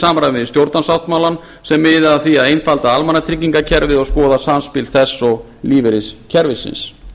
samræmi við stjórnarsáttmálann sem miða að því að einfalda almannatryggingakerfið og skoða samspil þess og lífeyriskerfisins